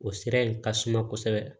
O sira in ka suma kosɛbɛ